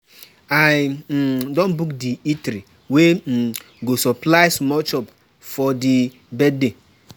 I don pay di event planner for di wedding, everytin dey set.